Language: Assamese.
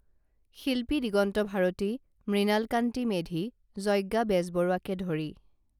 শিল্পী দিগন্ত ভাৰতী মৃণালকান্তি মেধি যজ্ঞা বেজবৰুৱাকে ধৰি